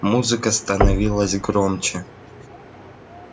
музыка становилась громче